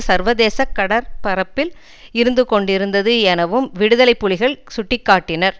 சர்வதேசக் கடற்பரப்பில் இருந்து கொண்டிருந்தது எனவும் விடுதலை புலிகள் சுட்டி காட்டினர்